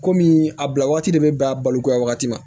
Kɔmi a bila waati de bɛ bɛn a balokoya wagati ma